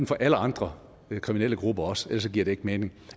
for alle andre kriminelle grupper også ellers giver det ikke mening